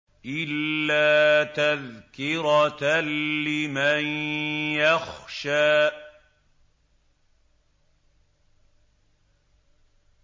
إِلَّا تَذْكِرَةً لِّمَن يَخْشَىٰ